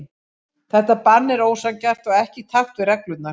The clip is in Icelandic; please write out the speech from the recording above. Þetta bann er ósanngjarnt og ekki í takt við reglurnar.